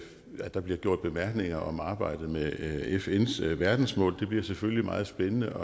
der bliver gjort bemærkninger om arbejdet med fns verdensmål det bliver selvfølgelig meget spændende